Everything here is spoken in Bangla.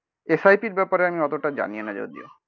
এস আই পি র ব্যাপারে আমি অতটা জানিনা যদিও